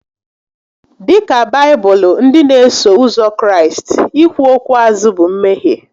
Dịka Baibụlụ ndị n'eso ụzọ Kraịst, ikwu okwu azụ bụ mmehie